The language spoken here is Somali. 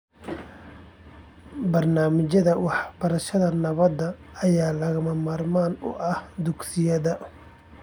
Barnaamijyada waxbarashada nabadda ayaa lagama maarmaan u ah dugsiyada .